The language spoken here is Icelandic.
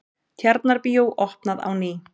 Tjarnarbíó opnað á ný